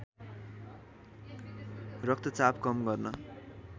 रक्तचाप कम गर्न